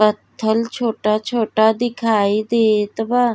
पत्थल छोटा-छोटा दिखाई देत बा।